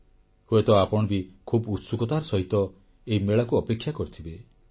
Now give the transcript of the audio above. ହୁଏତ ଆପଣ ବି ଖୁବ୍ ଉତ୍ସୁକତାର ସହିତ ଏହି ମେଳାକୁ ଅପେକ୍ଷା କରିଥିବେ